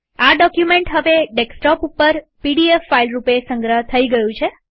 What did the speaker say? આ ડોક્યુમેન્ટ હવે ડેસ્કટોપ ઉપર પીડીએફ ફાઈલ રૂપે સંગ્રહ થઇ ગયું છે